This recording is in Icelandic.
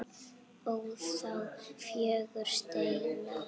ó þá fögru steina